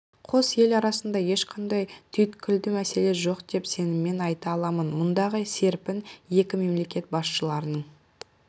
қос ел арасында ешқандай түйткілді мәселе жоқ деп сеніммен айта аламын мұндағы серпін екі мемлекет басшыларының